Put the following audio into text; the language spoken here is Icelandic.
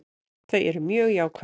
Þau eru mjög jákvæð.